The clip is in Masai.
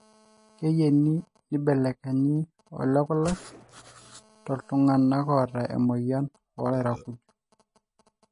keyieni nibelekenyi olekulak tooltunganak oota emoyian oo lairakuj